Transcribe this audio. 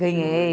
Ganhei.